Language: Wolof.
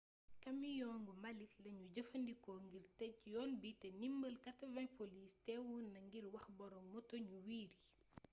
kamiyongu mbalit lañu jëfandikko ngir tëj yoon bi te ndimbal 80 poliss teewoona ngir wax boroom moto ñu wiiri